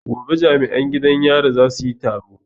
Gobe jami'an gidan yarin za su yi taro